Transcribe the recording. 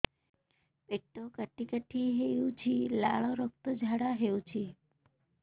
ପେଟ କାଟି କାଟି ହେଉଛି ଲାଳ ରକ୍ତ ଝାଡା ହେଉଛି